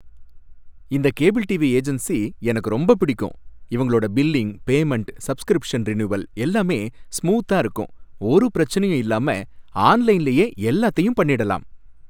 இந்த cable TV agency எனக்கு ரொம்ப பிடிக்கும், இவங்களோட பில்லிங், பேமன்ட், சப்ஸ்கிரிப்ஷன் ரினுவல் எல்லாமே ஸ்மூத்தா இருக்கும், ஒரு பிரச்சனையும் இல்லாம ஆன்லைன்லயே எல்லாத்தையும் பண்ணிடலாம்.